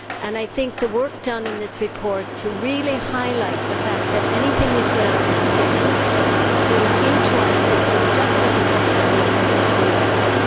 I think the work done in this report really highlights the fact that anything we put on our skin goes into our system just as effectively as if we ate it.